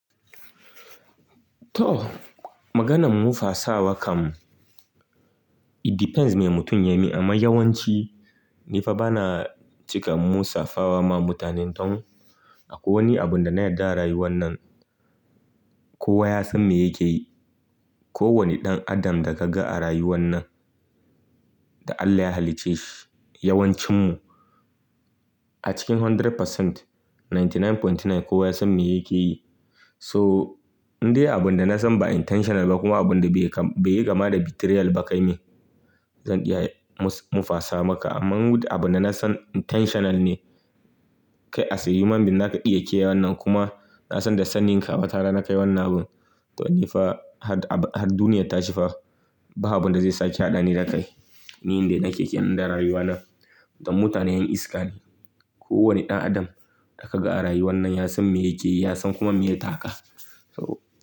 To, maganan mufa sawa kam it depends ne mutum ya yi amma yawanci ni fa bana cika musafawa ma mutanen don akwai wani abun da na yarda a rayuwan nan. Kowa ya san me yake yi. Ko wani ɗan adam da kaga a rayuwan nan da Allah ya halicce shi yawancin mu a cikin 100%, 99.9 kowa ya san me yake yi. To in dai abun da na san ba intentional ba kuma abun da bai yi kama da betrayal ba kai mi, zan iya mufa sa maka. Amma abun da na san intentional ne kai asayiman bin naka iya yake yawan nan kuma na san da sannin ka watara na ka yi wannan abun to ni fa har duniyar ta shifa ba abun da zai sake haɗani da ka yi. Ni inda nake ke, inda rayuwa na don mutane yan iska ne. Ko wani ɗan adam da ka ga a rayuwan nan ya san me yake yi, ya san kuma me ya taka so.